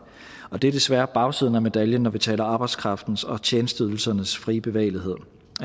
og det er desværre bagsiden af medaljen når vi taler arbejdskraftens og tjenesteydelsernes frie bevægelighed